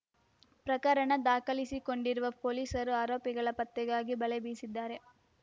ಪ್ರಕರಣ ದಾಖಲಿಸಿಕೊಂಡಿರುವ ಪೊಲೀಸರು ಆರೋಪಿಗಳ ಪತ್ತೆಗಾಗಿ ಬಲೆ ಬೀಸಿದ್ದಾರೆ